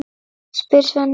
spyr Svenni.